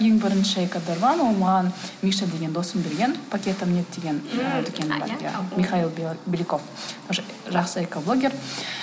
ең бірінші экодорбам оны маған миша деген досым берген пакетам нет деген михаил белеков тоже жақсы экоблогер